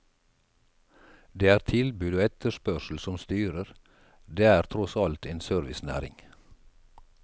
Det er tilbud og etterspørsel som styrer, det er tross alt en servicenæring.